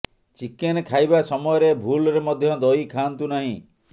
chicken ଖାଇବା ସମୟରେ ଭୁଲରେ ମଧ୍ୟ ଦହି ଖାଆନ୍ତୁ ନାହିଁ